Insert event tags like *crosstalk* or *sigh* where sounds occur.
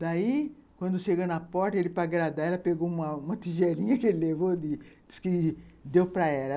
Daí, quando chegou na porta, ele para agradar, ela pegou uma uma tigelinha *laughs* que ele levou, disse que deu para ela.